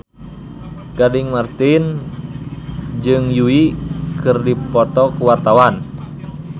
Gading Marten jeung Yui keur dipoto ku wartawan